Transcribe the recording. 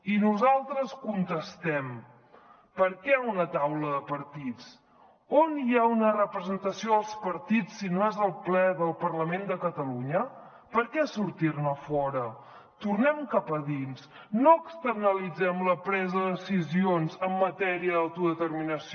i nosaltres contestem per què una taula de partits on hi ha una representació dels partits si no és al ple del parlament de catalunya per què sortir ne fora tornem cap a dins no externalitzem la presa de decisions en matèria d’autodeterminació